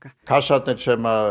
kassarnir sem